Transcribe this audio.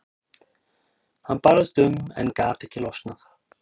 Hann barðist um en gat ekki losnað.